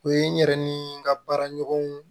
O ye n yɛrɛ ni n ka baara ɲɔgɔnw